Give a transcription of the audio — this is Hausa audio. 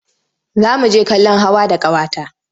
Za mu je kallon hawa da ƙawata.